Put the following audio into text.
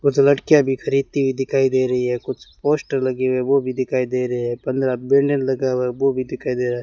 कुछ लड़कियां भी खरीदती हुई दिखाई दे रही है कुछ पोस्टर लगे हो भी दिखाई दे रहे हैं पन्द्रह बैनर लगा हुआ वो भी दिखाई दे रहा है।